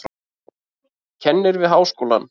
Kennir við háskólann.